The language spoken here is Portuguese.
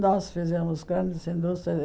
Nós fizemos grandes indústrias.